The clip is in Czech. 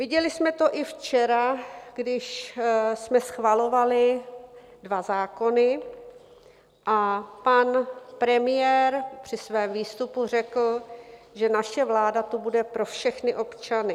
Viděli jsme to i včera, když jsme schvalovali dva zákony a pan premiér při svém výstupu řekl, že naše vláda tu bude pro všechny občany.